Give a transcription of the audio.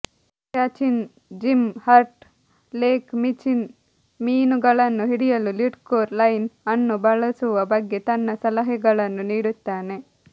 ಕ್ಯಾಚಿನ್ Jim Hurt Lake Michigan ಮೀನುಗಳನ್ನು ಹಿಡಿಯಲು leadcore line ಅನ್ನು ಬಳಸುವ ಬಗ್ಗೆ ತನ್ನ ಸಲಹೆಗಳನ್ನು ನೀಡುತ್ತಾನೆ